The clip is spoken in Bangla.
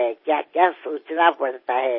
কত কী চিন্তাভাবনা করতে হয়